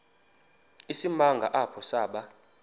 isimanga apho saba